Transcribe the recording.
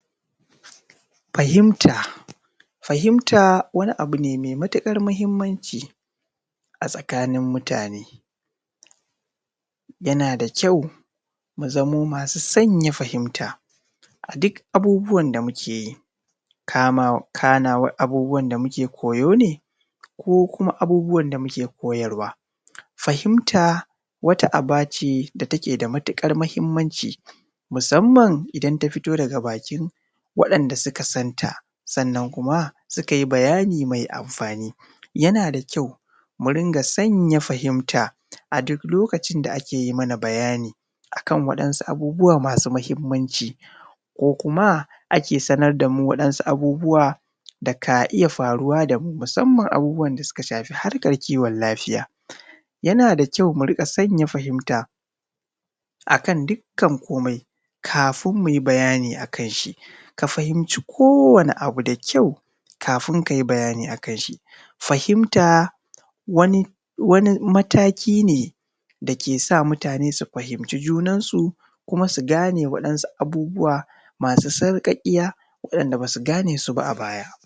Fahinta, fahinta wani abun ne mai matukar mahimmanci a tsakanin mutane yana da ƙyau mu zamo masu sanya fahimta a duk abubuwan da muke yi kana abubuwan da muke koyo ne ko kuma abubuwan da muke koyarwa .fahinta wata a ba ce da take da mutuƙar muhimmanci, musamman idan ta fito daga bakin waɗanda suka santa sannan kuma suka yi bayani mai anfani. Yana da ƙyau mu riƙa sanya fahinta a duk lokacin da ake yi mana bayani akan wasu abubuwa masu mahimmanci ko kuma ake sanar da mu waɗansu abubuwan da ka iya faruwa da mu musamman abubuwan da suka shafi harkar kiwon lafiya. yana da ƙyau mu riƙa fahimta akan dukkan komai kafin mu yi bayani a akan shi ka fahinci kowanne abu da ƙyau kafin ka yi bayani akan shi. Fahinta wani mataki ne da ke sa mutane su fahinci junansu kuma su gane wasu abubuwa masu sarƙaƙiya wanda ba su gane su ba a baya.